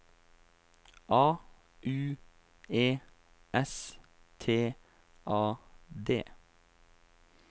A U E S T A D